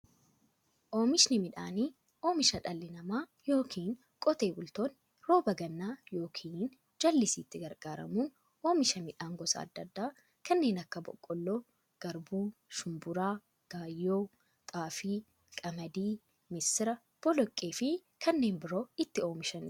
Oomishni midhaanii, oomisha dhalli namaa yookiin Qotee bultoonni roba gannaa yookiin jallisiitti gargaaramuun oomisha midhaan gosa adda addaa kanneen akka; boqqoolloo, garbuu, shumburaa, gaayyoo, xaafii, qamadii, misira, boloqqeefi kanneen biroo itti oomishamiidha.